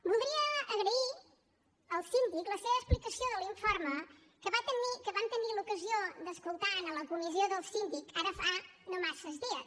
voldria agrair al síndic la seva explicació de l’informe que vam tenir l’ocasió d’escoltar en la comissió del síndic ara fa no massa dies